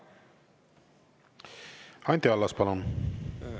Anti Allas, palun!